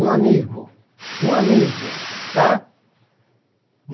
Um amigo, um amigo, tá?